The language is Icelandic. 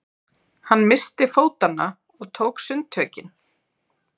Hann missti fótanna og tók sundtökin.